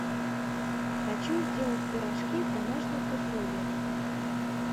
хочу сделать пирожки в домашних условиях